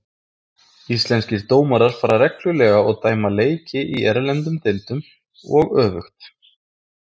Íslenskir dómarar fara reglulega og dæma leiki í erlendum deildum og öfugt.